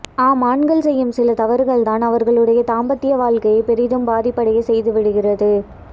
ஆம் ஆண்கள் செய்யும் சில தவறுகள் தான் அவர்களுடைய தாம்பத்ய வாழ்கையை பெரிதும் பதிபடைய செய்து விடுகிறது